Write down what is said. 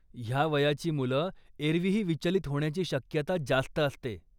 ह्या वयाची मुलं एरवीही विचलीत होण्याची शक्यता जास्त असते.